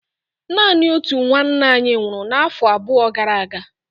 Naanị otu nwanna anyị nwụrụ afọ abụọ gara aga.